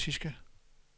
klassiske